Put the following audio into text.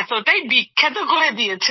এতটাই বিখ্যাত করে দিয়েছেন